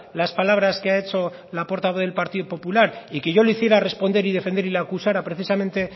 las palabras que ha hecho la portavoz del partido popular y que yo le hiciera responder y defender y le acusara precisamente